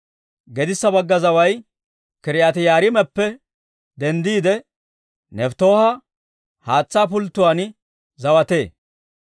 Gedissa bagga zaway K'iriyaati-Yi'aariimappe denddiide, Nefttooha haatsaa pulttatuwaan zawatee.